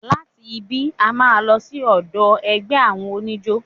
Láti ibí, a máa lọ sí ọ̀dọ̀ ẹgbẹ́ àwọn oníjó.